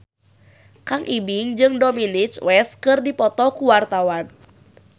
Kang Ibing jeung Dominic West keur dipoto ku wartawan